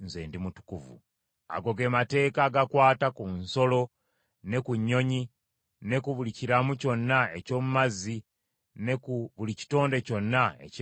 “Ago ge mateeka agakwata ku nsolo, ne ku nnyonyi, ne ku buli kiramu kyonna eky’omu mazzi, ne ku buli kitonde kyonna ekyewalulira ku ttaka.